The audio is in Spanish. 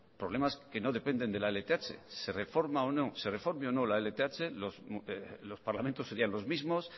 problemas que no dependen de la lth se reforme o no la lth los parlamentos serían los mismos